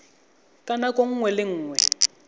ka nako nngwe le nngwe